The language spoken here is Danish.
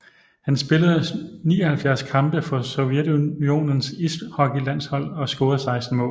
Han spillede 79 kampe for Sovjetunionens ishockeylandshold og scorede 16 mål